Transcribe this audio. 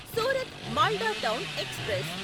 Surat Malda town express